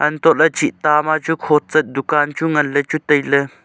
hatoh laley chinta ma chu khochet dukaan nganley chu tailey.